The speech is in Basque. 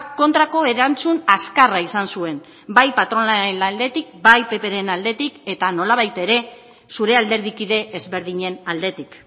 kontrako erantzun azkarra izan zuen bai patronalaren aldetik bai ppren aldetik eta nolabait ere zure alderdikide ezberdinen aldetik